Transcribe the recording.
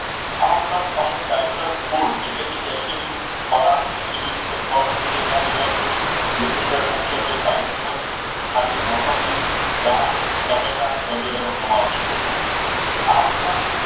આ ઉપરાંત અમુક citrus food એટલે કે acid યુક્ત ખોરાક એસિડિક ફળ જે છે એ ન લેવા જોઈએ. જેની અંદર મુખ્યત્વે પાઈનેપલ, ખાટી મોસંબી, દ્રાક્ષ, ટામેટા વગેરેનો સમાવેશ થતો હોય છે. આ ઉપરાંત